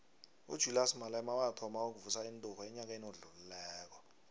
ujulias malema wathoma ukuvusa inturhu enyakeni odlulileko